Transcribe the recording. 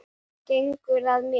Gengur að mér.